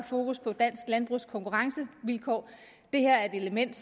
fokus på dansk landbrugs konkurrencevilkår det her er et element